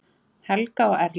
Helga og Erling.